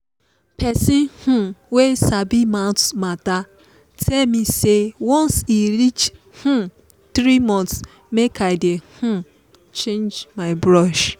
pesin um wey sabi mouth matter tell me say once e reach um three month make i dey um change my brush